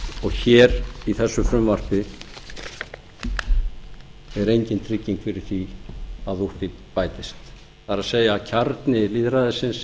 og hér í þessu frumvarpi er engin trygging fyrir því að úr því bætist það er kjarni lýðræðisins